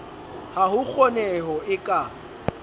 ha ho kgoneho e ka